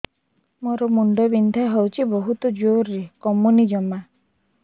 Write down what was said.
ମୋର ମୁଣ୍ଡ ବିନ୍ଧା ହଉଛି ବହୁତ ଜୋରରେ କମୁନି ଜମା